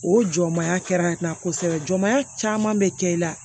O jɔ maya kɛra kosɛbɛ jɔmaya caman bɛ kɛ i la